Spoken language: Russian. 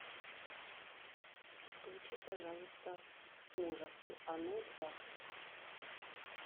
включи пожалуйста ужасы оно два